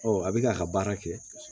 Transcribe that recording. a bɛ k'a ka baara kɛ